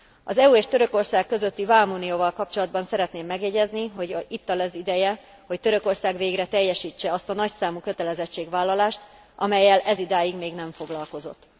Az EU és Törökország közötti vámunióval kapcsolatban szeretném megjegyezni, hogy itt az ideje, hogy Törökország végre teljesítse azt a nagyszámú kötelezettségvállalást, amellyel ezidáig még nem foglalkozott.